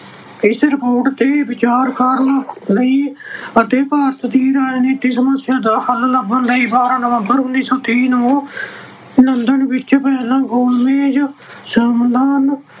ਇਸ report ਤੇ ਵਿਚਾਰ ਕਰਨ ਲਈ ਅਤੇ ਭਾਰਤ ਦੀ ਰਾਜਨੀਤਿਕ ਸਮੱਸਿਆ ਦਾ ਹੱਲ ਲੱਭਣ ਲਈ ਬਾਰਾਂ ਨਵੰਬਰ, ਉਨੀ ਸੌ ਤੀਹ ਨੂੰ ਲੰਡਨ ਵਿੱਚ ਪਹਿਲਾ ਗੋਲ ਮੇਜ ਸੰਮੇਲਨ